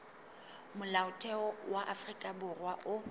molaotheo wa afrika borwa o